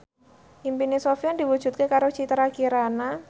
impine Sofyan diwujudke karo Citra Kirana